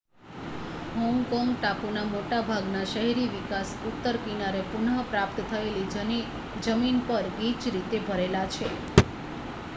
Hong Kong ટાપુના મોટા ભાગના શહેરી વિકાસ ઉત્તર કિનારે પુનઃ પ્રાપ્ત થયેલી જમીન પર ગીચ રીતે ભરેલા છે